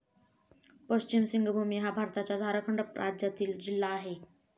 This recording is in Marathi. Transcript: पश्चिम सिंगभूमी हा भारताच्या झारखंड राज्यातील जिल्हा आहे.